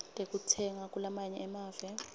tekutsenga kulamanye emave